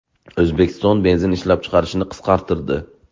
O‘zbekiston benzin ishlab chiqarishni qisqartirdi.